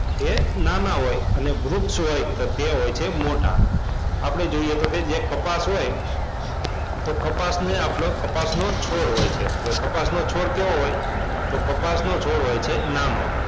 એ નાના હોય અને વૃક્ષ જે હોય છે તે મોટા આપણે જોઈએ તો કે જે કપાસ હોય તો કપાસની આપણો કપાસનો છોડ હોય છે કપાસનો છોડ કેવો હોય તો કપાસનો છોડ હોય છે નાનો.